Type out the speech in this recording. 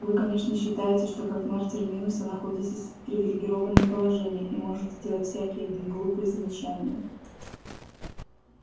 вы конечно считаете что как мэр терминуса находитесь в привилегированном положении и можете делать всякие гм глупые замечания